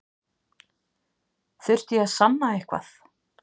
Þurfti ég að sanna eitthvað?